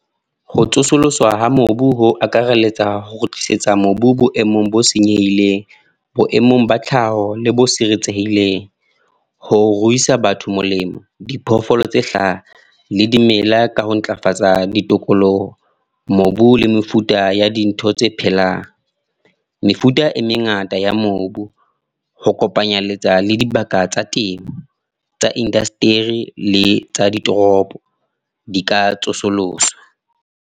Ho tsosolloswa ha mobu ho akareletsa ho kgutlisetsa mobu boemong bo senyehileng. Boemong ba tlhaho, le bo siretsehileng. Ho ruisa batho molemo, diphoofolo tse hlaha, le dimela ka ho ntlafatsa ditokoloho. Mobu le mefuta ya dintho tse phelang. Mefuta e mengata ya mobu. Ho kopanyeletsa le dibaka tsa teng. Tsa le di toropo, di ka tsosoloswa.